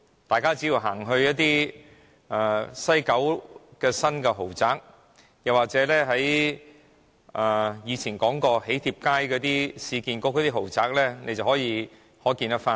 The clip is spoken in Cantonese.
大家只要到西九龍的新豪宅區，又或是市建局在囍帖街發展的豪宅看一看，便可窺全豹。